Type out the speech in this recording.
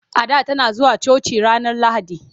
Ada tana zuwa coci ranar Lahadi.